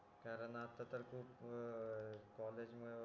कारण आता तर खूप कॉलेज मुळे